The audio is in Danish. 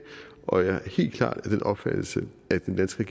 og jeg er helt klart af den opfattelse at den danske